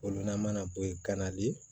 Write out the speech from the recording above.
O loma na bɔ ye ganali ye